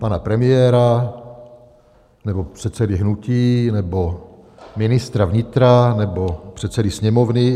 Pana premiéra, nebo předsedy hnutí, nebo ministra vnitra, nebo předsedy Sněmovny?